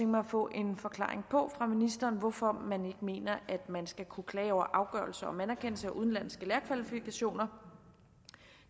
mig at få en forklaring fra ministeren på hvorfor man ikke mener at man skal kunne klage over afgørelser om anerkendelse af udenlandske lærerkvalifikationer